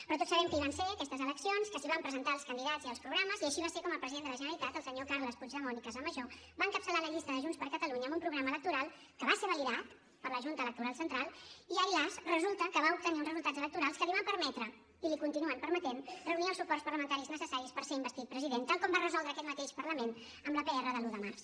però tots sabem que hi van ser aquestes eleccions que s’hi van presentar els candidats i els programes i així va ser com el president de la generalitat el senyor carles puigdemont i casamajó va encapçalar la llista de junts per catalunya amb un programa electoral que va ser validat per la junta electoral central i ai las resulta que va obtenir uns resultats electorals que li van permetre i li continuen permetent reunir els suports parlamentaris necessaris per ser investit president tal com va resoldre aquest mateix parlament amb la pr de l’un de març